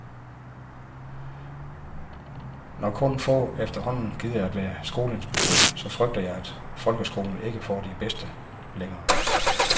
Når kun få efterhånden gider at være skoleinspektør, så frygter jeg, at folkeskolen ikke får de bedste længere.